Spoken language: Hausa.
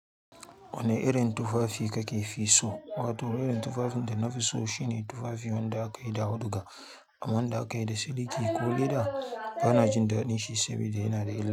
Wane irin tufafi kake fi so? Wato irin tufafin da na fi so shine tufafi wanda aka yi da auduga, ama wanda aka yi da siliki ko leda. Bana jin daɗin shi saboda yana da illa.